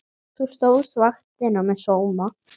Þú stóðst vaktina með sóma.